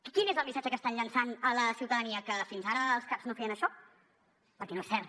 quin és el missatge que estan llançant a la ciutadania que fins ara els caps no feien això perquè no és cert